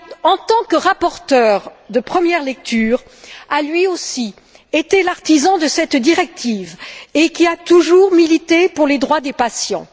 En tant que rapporteur de première lecture, il a, lui aussi, été l'artisan de cette directive et a toujours milité pour les droits des patients.